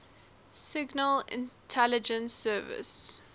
signal intelligence service